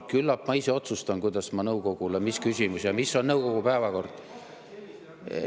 Küllap ma ise otsustan, mis on küsimus ja mis on nõukogu päevakord.